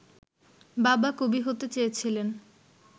বাবা কবি হতে চেয়েছিলেন